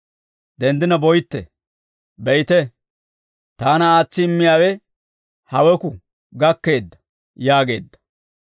Denddina boytte; be'ite, taana aatsi immiyaawe haweku gakkeedda» yaageedda.